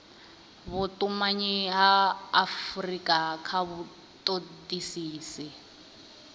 vhutumanyi ha afurika kha vhutodisisi